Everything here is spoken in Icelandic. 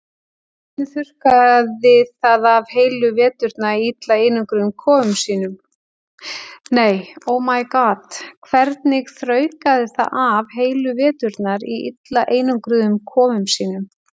Hvernig þraukaði það af heilu veturna í illa einangruðum kofum sínum?